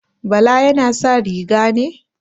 Bala yana sa riga ne?